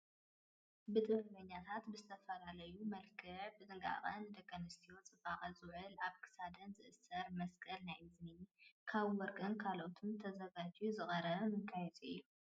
ብጥበበኛታት ብዝተፈላለዩ መልክዕ ብጥንቃቐ ንደቂ ኣንስትዮ ፅባቐ ዝውዕል ኣብ ክሳድ ዝእሰር መስቀል ናይ እዝኒ ካብ ወርቅን ካልኦትን ተዘጋጅዩ ዝቐረበ መጋየፂ እዩ።